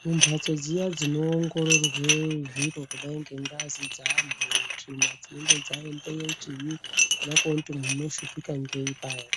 Kumhatso dziya dzinoongororwe zviro kudai ngengazi dzeanhu tsvina dzinenge dzaendeyo chinyi kuda kuona kuti munhu unoshupika ngei paya